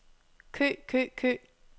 kø kø kø